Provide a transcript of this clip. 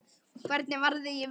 Hvernig varði ég vítið?